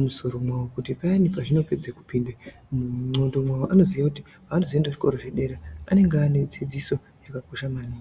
musoro mawo kuti paya pazvinopinda mungoxo mawo anozoenda kuzvikora zvepadera anenge anedzidziso yakakura maningi.